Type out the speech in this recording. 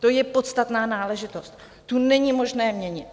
To je podstatná náležitost, tu není možné měnit.